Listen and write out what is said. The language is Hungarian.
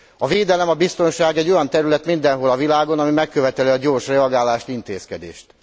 A védelem, a biztonság egy olyan terület mindenhol a világon, ami megköveteli a gyors reagálást, intézkedést.